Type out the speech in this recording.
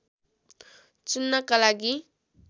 चुन्नका लागि